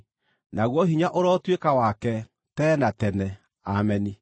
Naguo hinya ũrotuĩka wake tene na tene. Ameni.